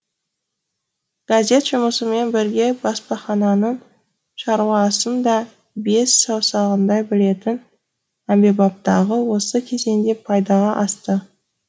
газет жұмысымен бірге баспахананың шаруасын да бес саусағындай білетін әмбебаптығы осы кезеңде пайдаға асты